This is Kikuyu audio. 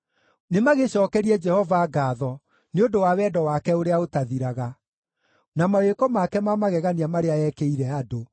Nĩmagĩcookerie Jehova ngaatho nĩ ũndũ wa wendo wake ũrĩa ũtathiraga, na mawĩko make ma magegania marĩa eekĩire andũ,